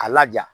A laja